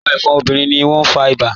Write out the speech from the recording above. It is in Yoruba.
Awọn ẹfọ́n obìnrin ni awọn ti o fá ìbà.